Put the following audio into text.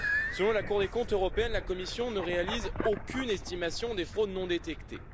Selon la Cour des comptes européenne, la Commission ne réalise aucune estimation des fraudes non détectées.